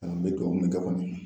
An bɛ duwawu kɛ kɔni